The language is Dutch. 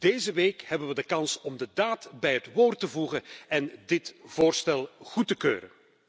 Deze week hebben we de kans om de daad bij het woord te voegen en dit voorstel goed te keuren.